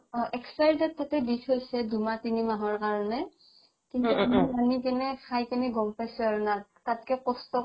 অ expiry date তাতে দি থইছে দুমাহ তিনি মাহৰ কাৰণে আনি কিনে খাই কিনে গ'ম পাইছো আৰু তাতকে কষ্ট